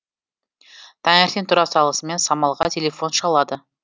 таңертең тұра салысымен самалға телефон шалады